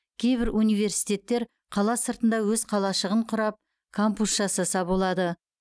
кейбір университеттер қала сыртында өз қалашығын құрап кампус жасаса болады